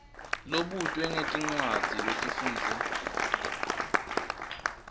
lobutwe ngetincwadzi lotifundze